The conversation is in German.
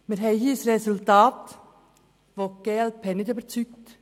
Wir haben hier ein Resultat, das die glp-Fraktion nicht überzeugt.